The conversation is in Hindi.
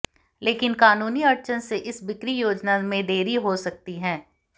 लेकिन कानूनी अड़चन से इस बिक्री योजना में देरी हो सकती है